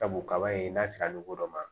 Sabu kaba ye n'a sera dɔ ma